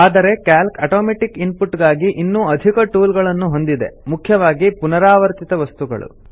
ಆದರೆ calc automatic input ಗಾಗಿ ಇನ್ನೂ ಅಧಿಕ ಟೂಲ್ ಗಳನ್ನು ಹೊಂದಿದೆ ಮುಖ್ಯವಾಗಿ ಪುನರಾವರ್ತಿತ ವಸ್ತುಗಳು